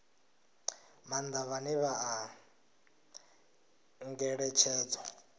maanḓa vhane vha ṱoḓa ngeletshedzo